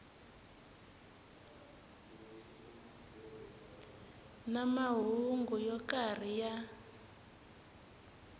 na mahungu yo karhi ya